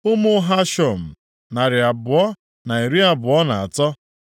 Ụmụ Hashum, narị abụọ na iri abụọ na atọ (223).